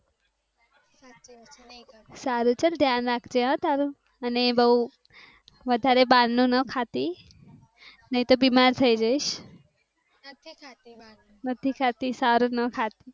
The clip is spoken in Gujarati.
સારું ચલ ધ્યાન રાખ જે હા તારું અને બહુ વધારે બહાર નું ન ખાતી નહિ તો બીમાર થઈ જઈશ. નથી ખાતી સારું